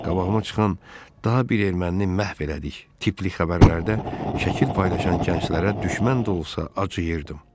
Qabağıma çıxan daha bir ermənini məhv elədik tipli xəbərlərdə şəkil paylaşan gənclərə düşmən də olsa acıyırdım.